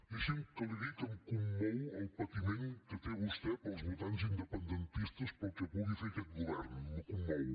deixi’m que li digui que em commou el patiment que té vostè pels votants independentistes pel que pugui fer aquest govern me commou